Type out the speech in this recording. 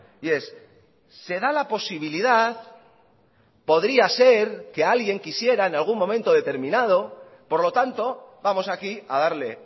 y es se da la posibilidad podría ser que alguien quisiera en algún momento determinado por lo tanto vamos aquí a darle